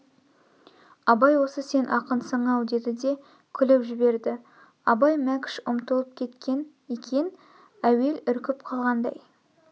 абай осы сен ақынсың-ау деді де күліп жіберді абай мәкшт ұмытып кеткен екен әуел үркіп қалғандай